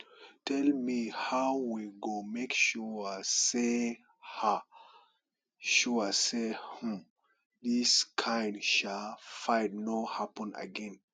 tell me how we go make sure sey um sure sey um dis kind um fight no happen again